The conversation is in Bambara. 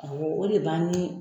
Awɔ o de b'an ni